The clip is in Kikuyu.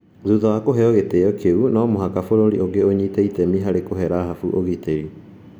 Thutha wa kũheo gĩtĩo kĩu, no mũhaka bũrũri ũngĩ ũnyite itemi harĩ kũhe Rahabu ũgitĩri.